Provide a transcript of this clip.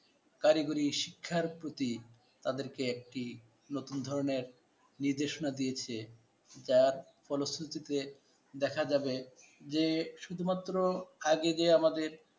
কারিগরি শিক্ষার প্রতি তাদেরকে একটি নতুন ধরনের নির্দেশনা দিয়েছে, যার ফলশ্রুতিতে দেখা যাবে যে শুধুমাত্র আগে যে আমাদের